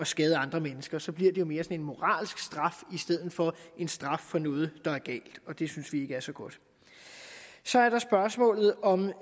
skader andre mennesker så bliver det mere en moralsk straf i stedet for en straf for noget der er galt og det synes vi ikke er så godt så er der spørgsmålet om